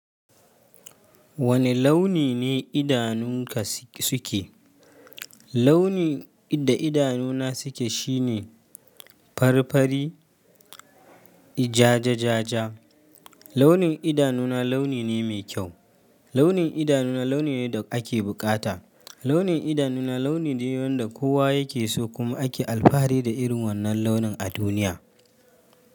Wane launi ne idanunka suke? Launin da idanuna suke shine, fari-fari, jaja-jaja. Launin idanuna, launi ne mai kyau. Launi idanuna launi ne, da ake bukata. Launi, idanuna launi ne da kowa yake so, kuma ake alfahari da irin wannan launin a duniya.